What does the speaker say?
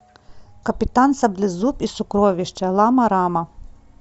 капитан саблезуб и сокровища лама рама